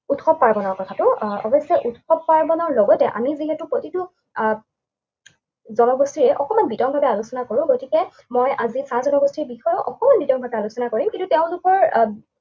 উৎসৱ পাৰ্বণৰ কথাটো। আহ অৱশ্যে উৎসৱ পাৰ্বণৰ লগতে আমি যিহেতু প্ৰতিটো আহ জনগোষ্ঠীয়ে অকণমান বিতংভাৱে আলোচনা কৰোঁ, গতিকে মই আজি চাহ জনগোষ্ঠীৰ বিষয়ে অকমাণ বিতংভাৱে আলোচনা কৰিম। কিন্তু তেওঁলোকৰ আহ